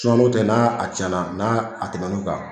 tɛ n'a a cɛnna n'a a tɛmɛ n'o kan